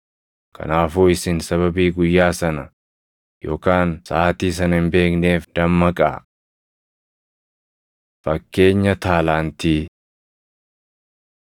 “Kanaafuu isin sababii guyyaa sana yookaan saʼaatii sana hin beekneef dammaqaa. Fakkeenya Taalaantii 25:14‑30 kwi – Luq 19:12‑27